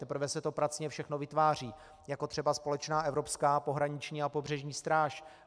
Teprve se to pracně všechno vytváří, jako třeba společná evropská pohraniční a pobřežní stráž.